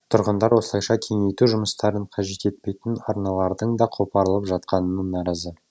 тұрғындар осылайша кеңейту жұмыстарын қажет етпейтін арналардың да қопарылып жатқанына наразы